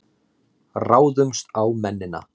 Ráðumst á mennina!